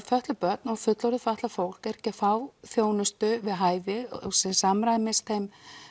fötluð börn og fullorðið fatlað fólk er ekki að fá þjónustu við hæfi sem samræmist þeim